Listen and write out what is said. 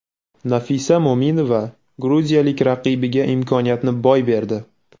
Nafisa Mo‘minova gruziyalik raqibiga imkoniyatni boy berdi.